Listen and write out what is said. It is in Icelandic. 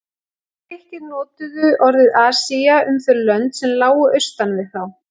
Grikkir notuðu orðið Asía um þau lönd sem lágu austan við þá.